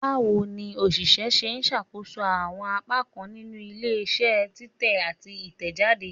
Bawo ni oṣiṣẹ ṣe ṣakoso awọn apakan ninu ile-iṣẹ titẹ ati titẹjade?